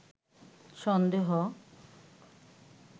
সন্দেহ